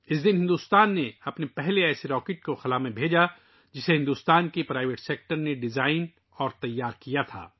اس دن بھارت نے اپنا پہلا ایسا راکٹ خلا میں بھیجا، جسے بھارت کے نجی شعبے نے ڈیزائن اور تیار کیا تھا